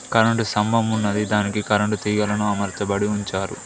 Current స్తంభం ఉన్నదే దానికి కరెంటు తీగలను అమార్చబడి ఉంచారు.